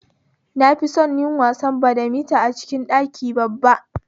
Na fison yin wasan badamita a cikin ɗaki babba